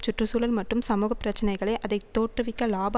சுற்று சூழல் மற்றும் சமூக பிரச்சினைகளை அதை தோற்றுவிக்க இலாப